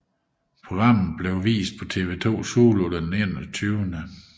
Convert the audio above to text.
Programmet blev vist på TV2 Zulu den 21